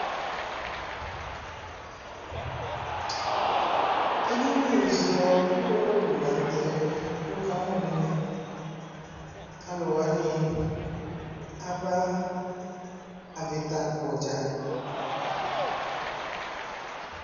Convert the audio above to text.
ɛdini zɔ ʋwɔlɔwʋ lantɛ kʋ wʋkamʋ nɛmɛ, alʋwani aba avita akpɔ dza